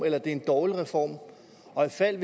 eller en dårlig reform og ifald